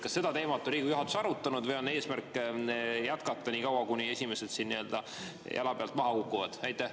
Kas seda teemat on Riigikogu juhatus arutanud või on eesmärk jätkata nii kaua, kuni esimesed nii-öelda jalapealt maha kukuvad?